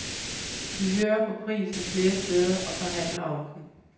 Vi hører på prisen flere steder og forhandler om den.